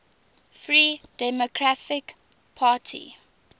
free democratic party